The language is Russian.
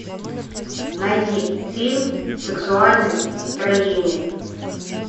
найди фильм сексуальное настроение